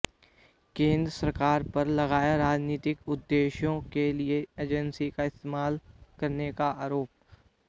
केंद्र सरकार पर लगाया राजनीतिक उद्देश्यों के लिए एजेंसियों का इस्तेमाल करने का आरोप